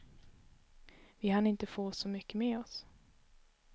Vi hann inte få så mycket med oss.